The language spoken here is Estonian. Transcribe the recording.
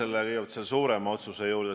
Aitäh, austatud aseesimees!